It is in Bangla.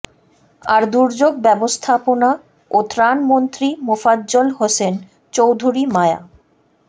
আর দুর্যোগ ব্যবস্থাপনা ও ত্রাণমন্ত্রী মোফাজ্জল হোসেন চৌধুরী মায়া